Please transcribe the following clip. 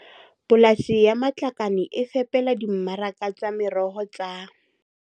Polasi ya Matlakane e fepela dimmaraka tsa meroho tsa